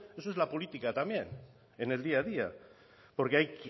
eso es la política también en el día a día porque hay